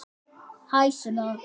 Hæ, Sunna.